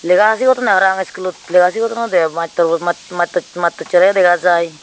lega sigodonde parapang schoolot lega sigodondoi mattorbuo mat mattochere yo dega jaai.